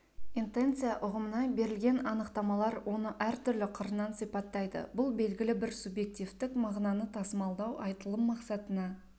интенция ұғымына берілген анықтамалар оны әртүрлі қырынан сипаттайды бұл белгілі бір субъективтік мағынаны тасымалдау айтылым мақсатына